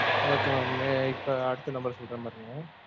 Okay mam. இப்ப அடுத்த number சொல்றேன் பாருங்க.